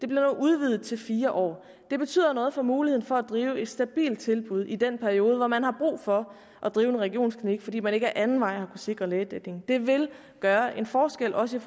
nu udvidet til fire år det betyder noget for muligheden for at drive et stabilt tilbud i den periode hvor man har brug for at drive en regionsklinik fordi man ikke ad anden vej har sikre lægedækningen det vil gøre en forskel også i